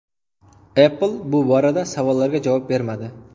Apple bu borada savollarga javob bermadi.